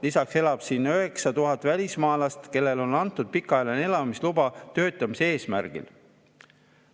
Lisaks elab siin 9000 välismaalast, kellele on antud pikaajaline elamisluba töötamise eesmärgil.